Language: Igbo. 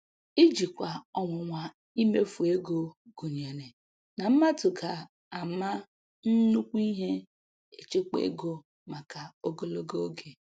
Ijikwa ọnwụnwa imefu ego gụnyere na mmadụ ga ama nnukwu ihe echekwa ego maka ogologo oge